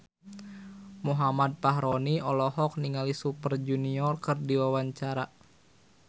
Muhammad Fachroni olohok ningali Super Junior keur diwawancara